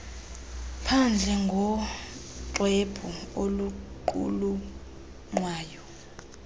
phandle ngoxwebhu oluqulunqwayo